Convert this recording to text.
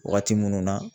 Waati minnu na